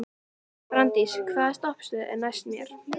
Branddís, hvaða stoppistöð er næst mér?